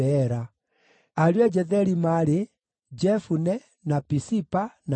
Ariũ a Jetheri maarĩ: Jefune, na Pisipa, na Ara.